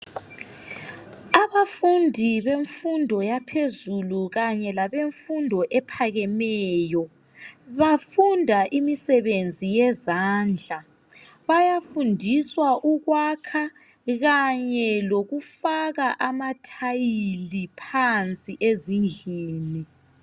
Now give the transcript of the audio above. Abafundi bemfundo yaphezulu kanye labemfundo ephakemeyo bafunda imisebenzi yezandla. Bayafundiswa ukwakha kanye lokufaka amathayili phansi ezindlini.